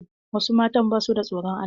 Wasu matan ba suda tsoron Allah.